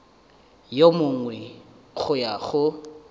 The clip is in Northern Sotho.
yo mongwe go ya go